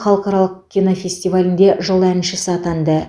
халықаралық кинофестивалінде жыл әншісі атанды